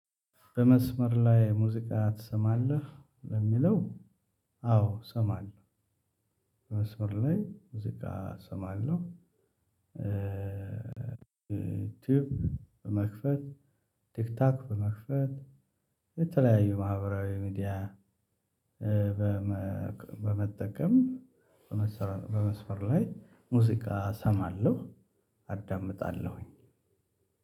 በመስመር ላይ ሙዚቃ ትሰማለህ ለሚለው? አው እሰማለው። በመስመር ላይ ሙዚቃ እሰማለው። ቲብ መክፈት ቲክቶክ በመክፈት የተለያዩ ማህበራዊ ሚዲያ በመከ በመጠቀም። በመስፈር ላይ ሙዚቃ እሰማለሁ አዳምጣለሁኝ።